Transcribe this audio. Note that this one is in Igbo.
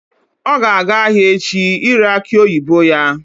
Ọ ga-aga ahịa echi ire akị oyibo ya